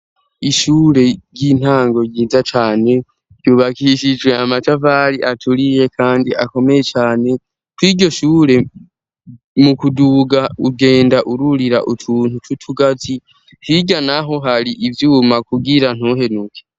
Ishure ry'intango ryiza cane ryubakishijwe amatafari aturiye kandi akomeye cane kw'iryo shure mu kuduga ugenda ururira utuntu tw'utugazi hirya naho hari ivyuma kugira ntuhenuke.